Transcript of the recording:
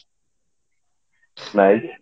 ନାଇଁ ଯେ